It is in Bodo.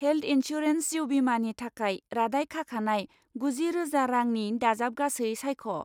हेल्थ इन्सुरेन्स जिउ बीमानि थाखाय रादाय खाखानाय गुजि रोजा रांनि दाजाबगासै सायख'।